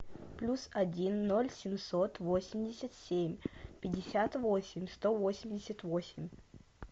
плюс один ноль семьсот восемьдесят семь пятьдесят восемь сто восемьдесят восемь